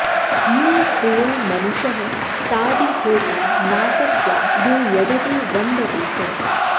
new प्रियो मनुषः सादि होता नासत्या यो यजते वन्दते च